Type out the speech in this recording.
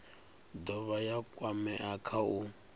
dovha ya kwamea kha u